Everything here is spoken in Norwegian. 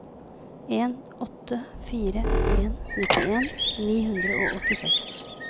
en åtte fire en nittien ni hundre og åttiseks